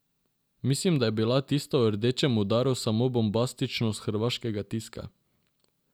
Mislim, da je bila tista o rdečem udaru samo bombastičnost hrvaškega tiska.